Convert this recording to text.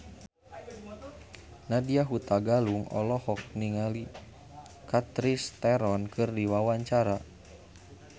Nadya Hutagalung olohok ningali Charlize Theron keur diwawancara